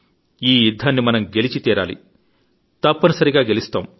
ఈ యుద్ధాన్ని మనం గెలిచి తీరాలి తప్పని సరిగా గెలుస్తాం